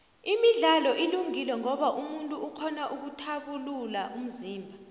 imidlalo ilungile ngoba umuntu ukghona ukthabulula umzimba